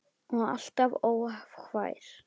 Og alltaf hógvær.